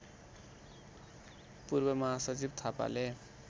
पूर्व महासचिव थापाले